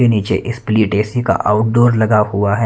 के नीचे split AC का आउटडोर लगा हुआ है।